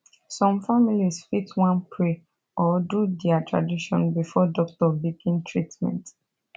some families fit wan pray or do dia tradition before doctor begin treatment